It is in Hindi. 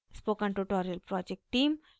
spoken tutorial project team